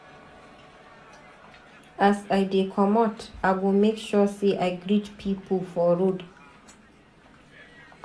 As I dey comot, I go make sure sey I greet pipu for road.